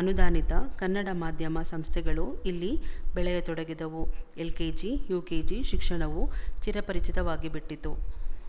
ಅನುದಾನಿತ ಕನ್ನಡ ಮಾಧ್ಯಮ ಸಂಸ್ಥೆಗಳೂ ಇಲ್ಲಿ ಬೆಳೆಯತೊಡಗಿದವು ಎಲ್ಕೆಜಿ ಯುಕೆಜಿ ಶಿಕ್ಷಣವು ಚಿರಪರಿಚಿತವಾಗಿಬಿಟ್ಟಿತು